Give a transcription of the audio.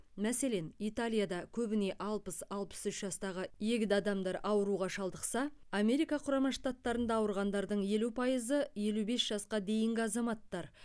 мәселен италияда көбіне алпыс алпыс үш жастағы егде адамдар ауруға шалдықса америка құрама штаттарында ауырғандардың елу пайызы елу бес жасқа дейінгі азаматтар